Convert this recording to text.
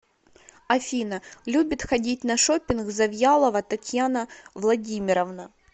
афина любит ходить на шопинг завьялова татьяна владимировна